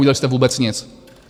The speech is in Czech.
Neudělali jste vůbec nic!